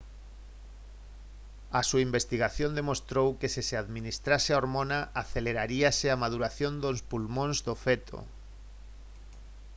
a súa investigación demostrou que se se administrase a hormona aceleraríase a maduración dos pulmóns do feto